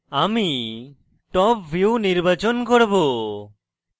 আমি top view নির্বাচন করব